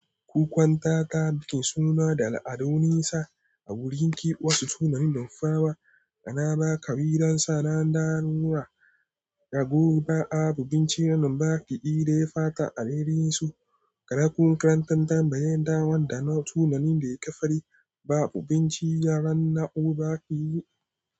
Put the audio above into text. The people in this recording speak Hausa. Wukwanta tab kin suna da al'adu nisa a wurin ki wasu sunayen nufawa, ana ba ka yi dan sa ran dan'ura, ragoba, abu, binciranin baki iri ya fata a ririnsu, ga raku karantan tambayan dawan da na sunanin da ya kafari babu binciyarannau baki yi.